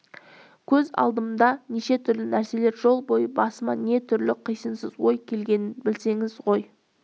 көз алдыма неше түрлі нәрселер жол бойы басыма не түрлі қисынсыз ой келгенін білсеңіз ғой